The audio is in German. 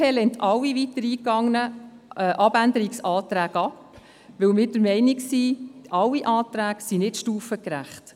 Die BDP lehnt alle weiter eingegangenen Abänderungsanträge ab, weil wir der Meinung sind, diese alle seien nicht stufengerecht.